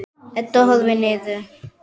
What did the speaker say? Edda horfir niður.